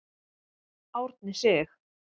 Árni Sig.